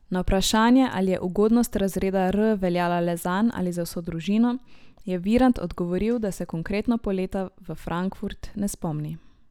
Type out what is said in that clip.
Na vprašanje, ali je ugodnost razreda R veljala le zanj ali za vso družino, je Virant odgovoril, da se konkretno poleta v Frankfurt ne spomni.